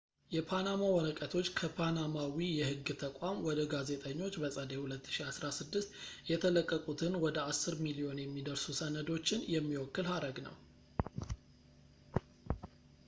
"የፓናማ ወረቀቶች ከፓናማዊ የህግ ተቋም ወደ ጋዜጠኞች በጸደይ 2016 የተለቀቁትን ወደ አስር ሚሊዮን የሚደርሱ ሰነዶችን የሚወክል ሀረግ ነው።